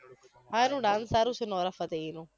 સારુ ને નામ સારુ છે નોરા ફતેહીનું